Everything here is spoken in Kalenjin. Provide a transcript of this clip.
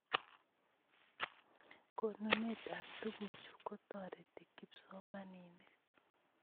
Konunet ap tukuchu kotoreti kipsomaninik